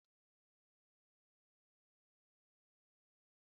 Kuzierem ka esi esi indomie na akwa